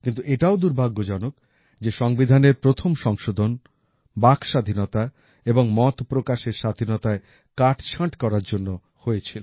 কিন্তু এটাও দুর্ভাগ্যজনক যে সংবিধানের প্রথম সংশোধন বাকস্বাধীনতা এবং মতপ্রকাশের স্বাধীনতায় কাটছাঁট করার জন্য হয়েছিল